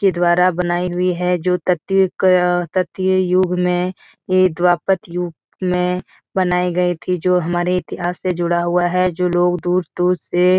के द्वारा बनाई हुई है जो तृतीया युग अ तृतीया युग में ये द्वापत युग में बनाई गयी थी जो हमारे इतिहास से जुड़ा हुआ है जो लोग दूर-दूर से --